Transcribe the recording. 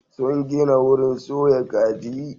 Sun gina wurin soya kaji.